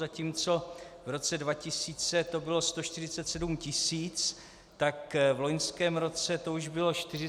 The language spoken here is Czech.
Zatímco v roce 2000 to bylo 147 tisíc, tak v loňském roce to už bylo 477 tisíc.